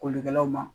Kolikɛlaw ma